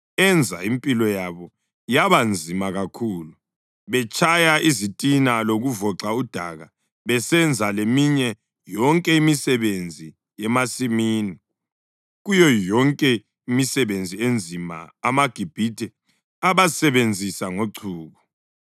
Enza impilo yabo yaba nzima kakhulu betshaya izitina lokuvoxa udaka besenza leminye yonke imisebenzi yemasimini. Kuyo yonke imisebenzi enzima amaGibhithe abasebenzisa ngochuku.